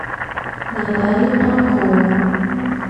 наталья панкова